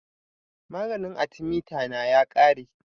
Maganin athemeta na ya ƙare